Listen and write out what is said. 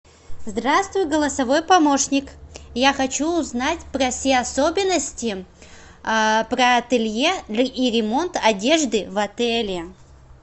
здравствуй голосовой помощник я хочу узнать про все особенности про ателье и ремонт одежды в отеле